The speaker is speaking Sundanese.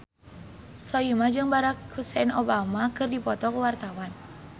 Soimah jeung Barack Hussein Obama keur dipoto ku wartawan